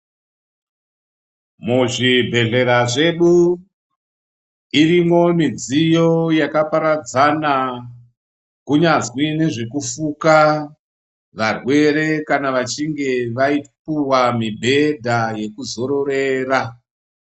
Muzvibhedhlera zvedu iriko midziyo iyo yakaparadzana kunyazi nezvekufuka varwere kana vachinge vapuwa mibhedha yekuzororera.